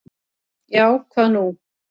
Já, hvað nú?